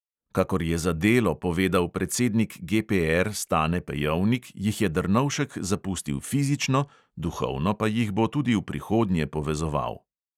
Kakor je za delo povedal predsednik GPR stane pejovnik, jih je drnovšek zapustil fizično, duhovno pa jih bo tudi v prihodnje povezoval.